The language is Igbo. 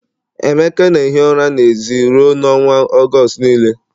Emeka na-ehi ụra n'èzí ruo n'ọnwa Ọgọst niile